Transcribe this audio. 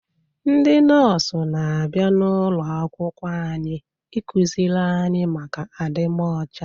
Ndị nọọsụ n'abia n'ulo akwụkwọ anyị, ị kụziri anyị maka adịmocha